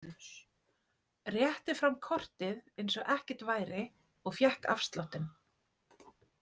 Rétti fram kortið eins og ekkert væri og fékk afsláttinn.